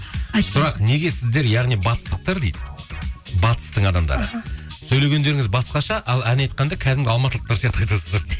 сұрақ неге сіздер яғни батыстықтар дейді батыстың адамдары іхі сөйлегендеріңіз басқаша ал ән айтқанда кәдімгі алматылықтар сияқты айтасыздар